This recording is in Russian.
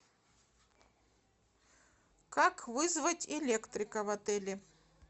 как вызвать электрика в отеле